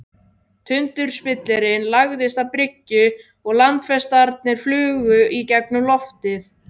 Tundurspillirinn lagðist að bryggju og landfestarnar flugu í gegnum loftið.